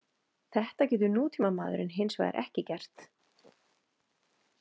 Þetta getur nútímamaðurinn hins vegar ekki gert.